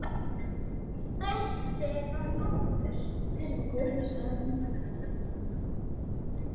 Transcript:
Þessi var góður, sagði hann.